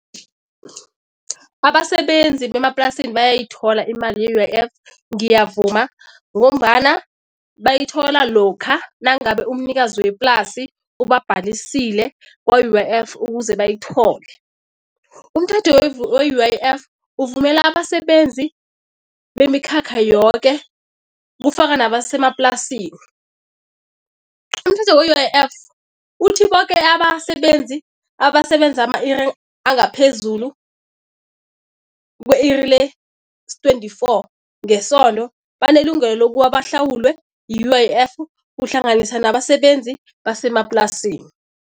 Abasebenzi bemaplasini bayayithola imali ye-U_I_F, ngiyavuma ngombana bayithola lokha nangabe umnikazi weplasi ubabhalisile kwa-U_I_F ukuze bayithole. Umthetho we-U_I_F uvumela abasebenzi bemikhakha yoke, ufaka nabasemaplasini. Umthetho we-U_I_F uthi boke abasebenzi abasebenza ama-iri angaphezulu kwe-iri les-twenty-four ngesondo banelungelo lokuba bahlawulwe yi-U_I_F kuhlanganisa nabasebenzi besemaplasini.